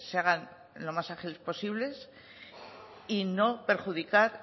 hagan lo más ágiles posibles y no perjudicar